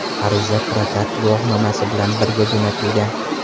Ariza prokat guvohnomasi bilan birga jo‘natilgan.